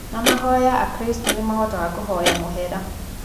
Na mahoya akristo nĩmahotaga kũhoya mũhera